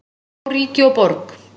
Skora á ríki og borg